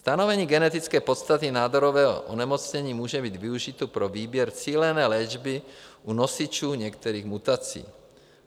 Stanovení genetické podstaty nádorového onemocnění může být využito pro výběr cílené léčby u nosičů některých mutací.